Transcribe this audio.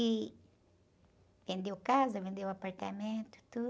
E... Vendeu casa, vendeu apartamento, tudo.